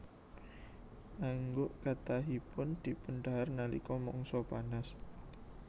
Naengguk kathahipun dipundhahar nalika mangsa panas